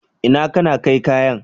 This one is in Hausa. Inna kana kai kayan?